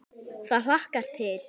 Það hlakkar til.